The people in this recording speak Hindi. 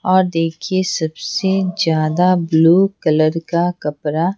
और देखिए सबसे ज्यादा ब्लू कलर का कपड़ा--